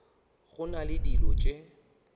go na le dilo tše